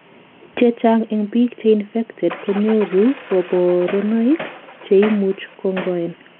chechang en biik cheinfected konyoru kaborunoik, cheimuch kongoen